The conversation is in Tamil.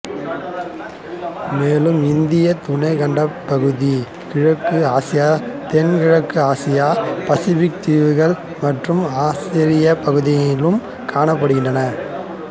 மேலும் இந்தியத் துணைக்கண்டப்பகுதி கிழக்கு ஆசியா தென் கிழக்கு ஆசியா பசிபிக் தீவுகள் மற்றும் ஆஸ்திரேலியா பகுதியிலும் காணப்படுகிறது